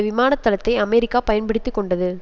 விமானத்தளத்தை America பயன்படுத்தி கொண்டது